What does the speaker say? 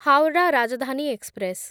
Howrah Rajdhani express